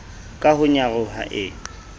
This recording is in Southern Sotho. ka ho nyaroha e e